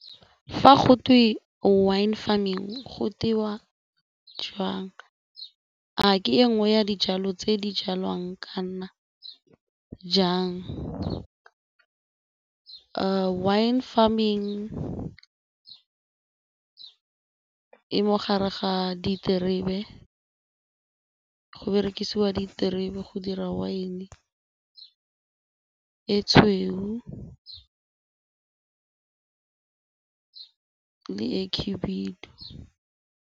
Fa go twe wine farming go tewa jwang? A ke e nngwe ya dijalo tse di jalwang kana jang? Wine farming e mo gare ga diterebe, go berekisiwa diterebe go dira wine e tshweu le e khibidu.